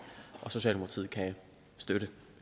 og socialdemokratiet kan støtte